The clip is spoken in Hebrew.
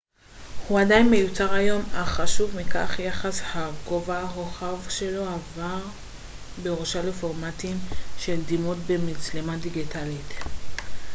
הוא עדיין מיוצר היום אך חשוב מכך יחס הגובה-רוחב שלו עבר בירושה לפורמטים של דימות במצלמה דיגיטלית